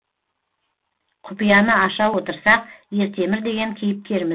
құпияны аша отырсақ ертемір деген кейіпкеріміз